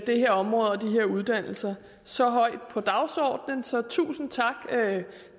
det her område og de her uddannelser så højt på dagsordenen så tusind tak